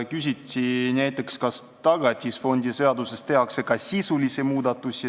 Küsiti näiteks, kas Tagatisfondi seaduses tehakse ka sisulisi muudatusi.